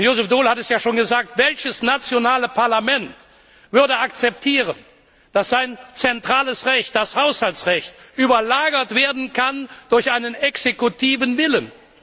Und Joseph Daul hat es ja schon gesagt Welches nationale Parlament würde akzeptieren, dass sein zentrales Recht, das Haushaltsrecht, überlagert werden kann durch einen exekutiven Willen?